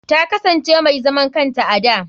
Ta kasance mai zaman kanta a da.